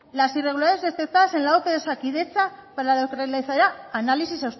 la irregularidades detectadas en la ope de osakidetza para análisis